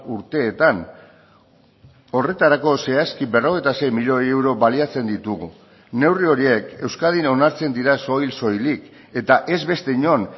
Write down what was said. urteetan horretarako zehazki berrogeita sei milioi euro baliatzen ditugu neurri horiek euskadin onartzen dira soil soilik eta ez beste inon